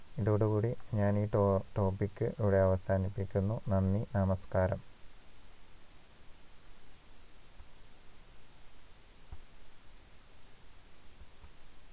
ഇതോടുകൂടി ഞാനീ ടൊ topic ഇവിടെ അവസാനിപ്പിക്കുന്നു നന്ദി നമസ്കാരം